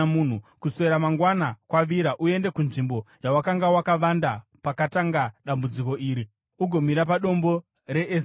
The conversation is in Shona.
Kuswera mangwana, kwavira, uende kunzvimbo yawakanga wakavanda pakatanga dambudziko iri, ugomira padombo reEzeri.